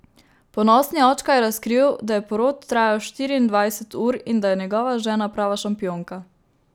Ponosni očka je razkril, da je porod trajal štiriindvajset ur in da je njegova žena prava šampionka.